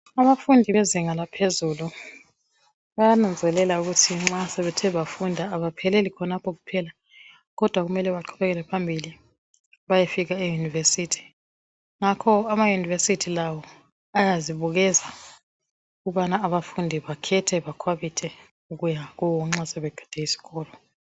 Abafundi bezinga laphezulu bayananzelela ukuthi nxa sebethe bafunda abapheleli khona kuphela kodwa kumele baqhubekele phambili bayefika eYunivesithi. Ngakho ama yunivesithi lawo ayazibukeza ukubana abafundi bakhethe bakhwabithe ukuya kuwo nxa sebeqede iskolo.